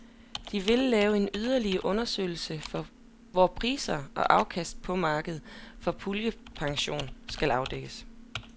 De vil lave en yderligere undersøgelse, hvor priser og afkast på markedet for puljepension skal afdækkes.